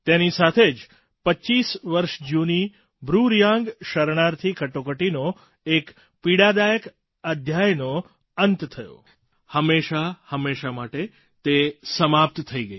તેની સાથે જ 25 વર્ષ જૂની બ્રૂ રિયાંગ શરણાર્થી કટોકટીનો એક પીડાદાયક અધ્યાયનો અંત થયો હંમેશાં હંમેશાં માટે તે સમાપ્ત થઈ ગઈ